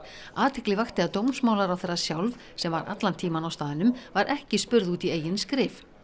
athygli vakti að dómsmálaráðherra sjálf sem var allan tímann á staðnum var ekki spurð út í eigin skrif